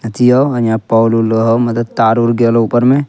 अथी हो यहां पोल उल हो मतलब तार-उर गेल हो ऊपर मे।